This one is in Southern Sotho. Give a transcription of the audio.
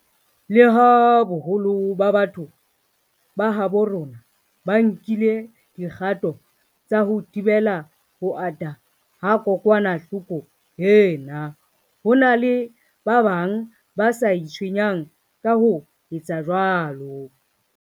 Leha boholo ba batho ba habo rona ba nkile dikgato tsa ho thibela ho ata ha kokwanahloko ena, ho na le ba bang ba sa itshwenyang ka ho etsa jwalo.